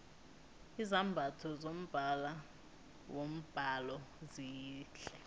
izambatho zombala wombhalo zihle